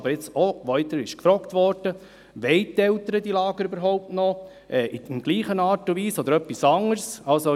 Es wurde aber gefragt, ob die Eltern die Lager noch wollten, sei es in der gleichen Art und Weise oder sei es in anderer Form.